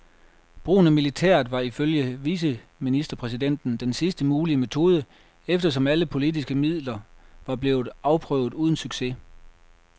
Brugen af militæret var ifølge viceministerpræsidenten den sidste mulige metode, eftersom alle politiske midler var blevet afprøvet uden succes.